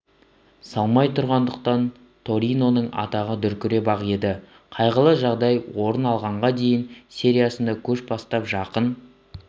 салмай тұрғандықтан ториноның атағы дүркіреп-ақ еді қайғылы жағдай орын алғанға дейін сериясында көш бастап жақын